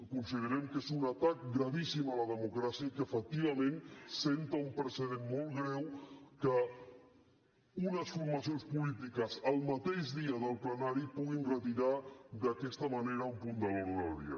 considerem que és un atac gravíssim a la democràcia i que efectivament assenta un precedent molt greu que unes formacions polítiques el mateix dia del plenari puguin retirar d’aquesta manera un punt de l’ordre del dia